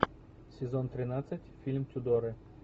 сезон тринадцать фильм тюдоры